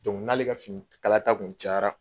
n'ale ka fini kala ta kun cayara